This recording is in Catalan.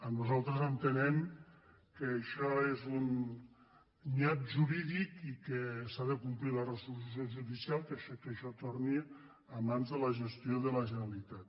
nosaltres entenem que ai·xò és un nyap jurídic i que s’ha de complir la resolució judicial que això torni a mans de la gestió de la gene·ralitat